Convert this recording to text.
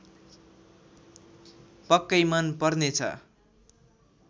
पक्कै मन पर्नेछ